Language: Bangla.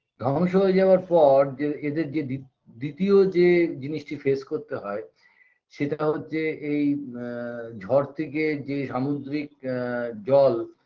ধ্বংস হয়ে যাওয়ার পর যে এদের যে দি দ্বিতীয় যে জিনিসটি face করতে হয় সেটা হচ্ছে এই আ ঝড় থেকে যে সামুদ্রিক আ জল